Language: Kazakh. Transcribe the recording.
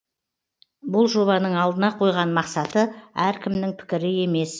бұл жобаның алдына қойған мақсаты әркімнің пікірі емес